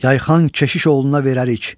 Yayxan keşiş oğluna verərik.